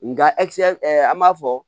Nga an b'a fɔ